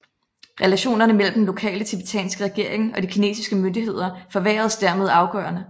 Relationerne mellem den lokale tibetanske regering og de kinesiske myndigheder forværredes dermed afgørende